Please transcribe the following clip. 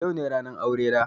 Yau ne ranar aurena.